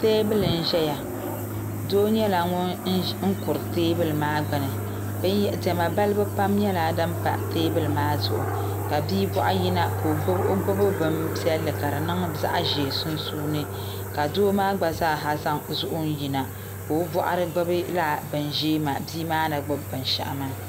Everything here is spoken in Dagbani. teebuli n-zaya doo nyɛla ŋun kuri teebuli maa gbuni diɛma balibu pam nyɛla din pa teebuli maa zuɣu ka bia bɔŋɔ yina ka o gbubi bimpiɛlli ka di niŋ zaɣ' ʒee sunsuuni ka doo maa gba zaasa zaŋ zuɣu n-yina ka o bɔɣiri gbubi lala bia maa ni gbubi binshɛɣu maa